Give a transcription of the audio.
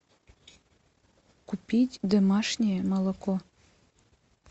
купить домашнее молоко